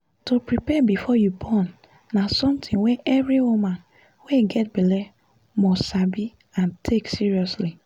to prepare before you born na something wey every woman wey get belle must sabi and take seriously